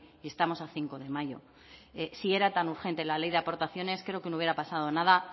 y estamos a cinco de mayo si era tan urgente la ley de aportaciones creo que no hubiera pasado nada